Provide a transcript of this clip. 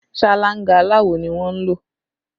Ṣáláńgá aláwò ni a ń lò